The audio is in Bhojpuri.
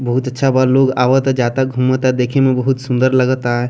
बहुत अच्छा बा लोग आवता जाता घूमता देख में बहुत सूंदर लगता।